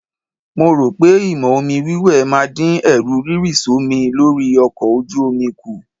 Mo rò pé ìmọ̀ omi wíwẹ̀ máa dín Ẹ̀rù rírì sómi lórí ọkọ ojú omi kù.